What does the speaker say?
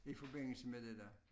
I forbindelse med det der